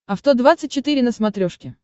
авто двадцать четыре на смотрешке